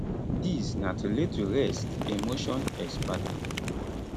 dis na to lay to rest a motion exparte